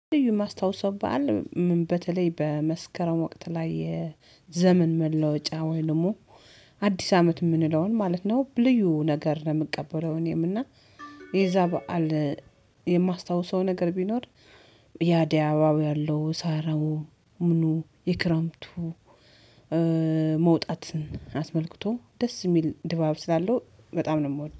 ልዩ ማስታወስ በዓል በተለይ በመስከረም ወቅት ላይ የዘመን መለወጫ ወይም ደግሞ አዲስ አመት የምንለውን ማለት ነው። ብ ልዩ ነገር ነው የምቀበለው እኔም እና የዛ በዓል። ነገር ቢኖር ያድያዋው ያለው ሳራው ምኑ የክረምቱ መውጣትን አስመልክቶ ደስ የሚል ድባብ ስላለው በጣም ነው የምወደው